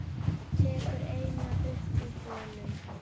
Tekur eina upp úr honum.